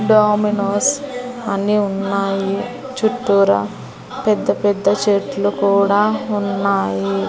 Dominoes అన్ని ఉన్నాయి చుట్టూరా పెద్దపెద్ద చెట్లు కూడా ఉన్నాయి.